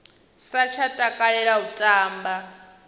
sa tsha takalela u tamba